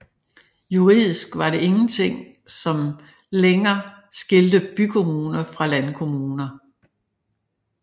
Juridisk var det ingenting som lenger skilte bykommuner fra landkommuner